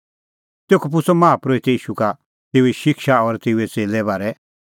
तेखअ पुछ़अ माहा परोहितै ईशू का तेऊए शिक्षा और तेऊए च़ेल्ले बारै